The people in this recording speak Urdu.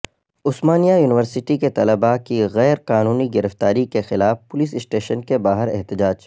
عثمانیہ یونیورسٹی کے طلبہ کی غیر قانونی گرفتاری کے خلاف پولیس اسٹیشن کے باہر احتجاج